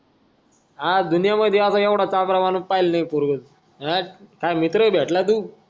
हा दुनियामध्ये असा येवढा चाभला माणूस पाहिला नाय पोरग हाट् काय मित्र भेटला तू